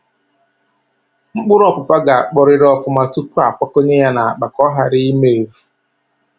Mkpụrụ ọpụpa ga-akpọrịrị ọfụma tupuu a kwakọnye ya n'akpa, ka ọ ghara ị ma evu.